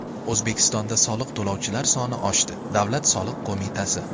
O‘zbekistonda soliq to‘lovchilar soni oshdi Davlat soliq qo‘mitasi.